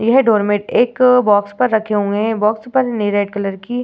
यह डोरमेट एक बॉक्स पर रखे हुए हैं बॉक्स पर नी रेड कलर की --